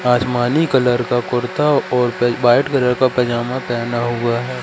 आसमानी कलर का कुर्ता और क व्हाइट कलर का पजामा पहना हुआ है।